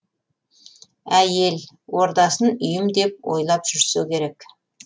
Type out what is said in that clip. әйел ордасын үйім деп ойлап жүрсе керек